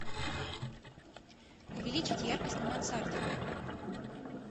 увеличить яркость на мансарде